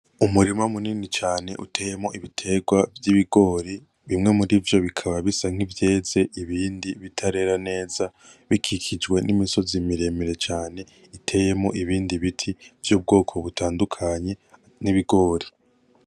Umurima munini cane uteyemwo ibiterwa vy'ibigori, bimwe muri vyo bikaba bisa nk'ivyeze ibindi bitarera neza bikikijwe n'imisozi miremire cane iteyemwo ibindi biti vy'ubwoko butandukanye n'ibigori.